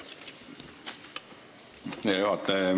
Hea juhataja!